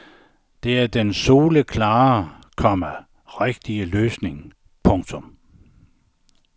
Men det er den soleklare, komma rigtige løsning. punktum